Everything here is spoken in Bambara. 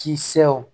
Kisɛw